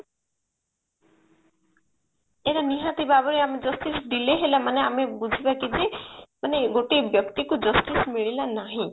ଏଇଟା ନିହାତି ଭାବରେ ଆମ justice delay ହେଲା ମାନେ ଆମେ ବୁଝିବା କି ଯେ ମାନେ ଗୋଟେ ବ୍ୟକ୍ତିକୁ justice ମିଳିଲା ନାହିଁ